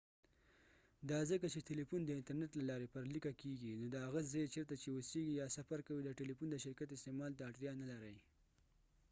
دا ځکه چې تلیفون د انترنیت له لارې پر لیکه کیږي نو د هغه ځای چیرته چې اوسیږي یا سفر کوې د ټلیفون د شرکت استعمال ته اړتیا نه لرې